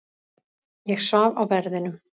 Ég svaf á verðinum.